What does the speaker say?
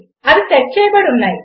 అవి సెట్ చేయబడి ఉన్నాయి